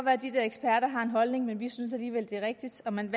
at de der eksperter har en holdning men vi synes alligevel det er rigtigt og man